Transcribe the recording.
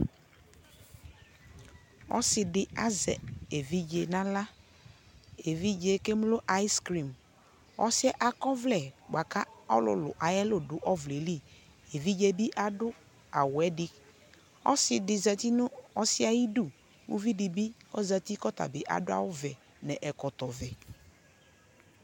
ɔsii di azɛ ɛvidzɛ nʋala, ɛvidzɛ kɛmlɔ ice cream ɔsiiɛ akɔ ɔvlɛ kʋ ɔlʋlʋ ayiɛlʋ dʋ ɔvlɛ li, ɛvidzɛ bi adʋ awʋɛ di, ɔsii di zati nʋ ɔsiiɛ ayidʋ, ʋvi dibi ɔzati kʋ ɔtabi adʋ awʋ vɛ nʋ ɛkɔtɔ vɛ